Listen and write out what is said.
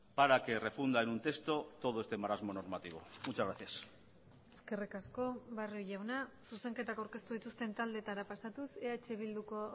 para que refunda en un texto todo este marasmo normativo muchas gracias eskerrik asko barrio jauna zuzenketak aurkeztu dituzten taldeetara pasatuz eh bilduko